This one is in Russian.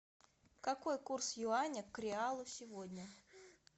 какой курс юаня к реалу сегодня